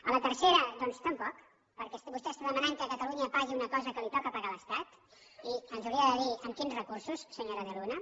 a la tercera doncs tampoc perquè vostè està demanant que catalunya pagui una cosa que li toca pagar a l’estat i ens hauria de dir amb quins recursos senyora de luna